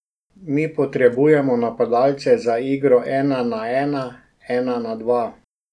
Mi potrebujemo napadalce za igro ena na ena, ena na dva.